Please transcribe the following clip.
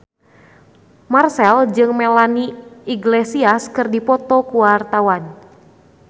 Marchell jeung Melanie Iglesias keur dipoto ku wartawan